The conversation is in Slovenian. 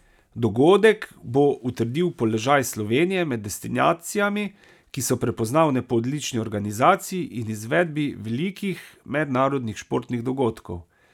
Dogodek bo utrdil položaj Slovenije med destinacijami, ki so prepoznavne po odlični organizaciji in izvedbi velikih mednarodnih športnih dogodkov.